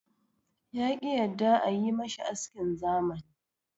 Ya ki yadda a yi mashi askin zamani.